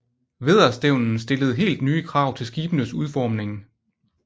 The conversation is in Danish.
Vædderstævnen stillede helt nye krav til skibenes udformning